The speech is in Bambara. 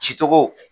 Cicogo